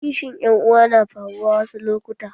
Kishin ƴan uwa na faruwa wasu lokuta